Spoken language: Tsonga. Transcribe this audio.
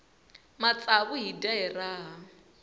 matsavu hi dya hi raha